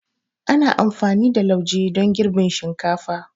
Ana amfani da lauje don girbin shinkafa.